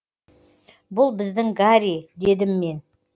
бұл біздің гарри дедім мен